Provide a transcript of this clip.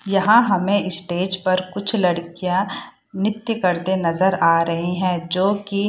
यहाँ हमे स्टेज पर कुछ लड़कियां नित्य करते नजर आ रही है जो की --